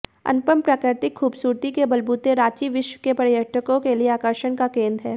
अनुपम प्रकृतिक खूबसूरती के बलबूते रांची विश्व के पर्यटकों के लिए आकर्षण का केंद्र है